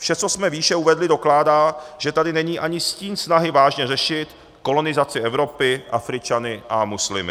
Vše, co jsme výše uvedli, dokládá, že tady není ani stín snahy vážně řešit kolonizaci Evropy Afričany a muslimy.